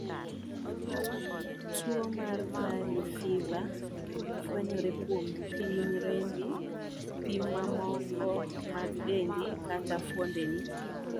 Tuo mar Valey fiva fwenyre kuom pim rembi, pi mamoko mag dendi, kata fuondeni.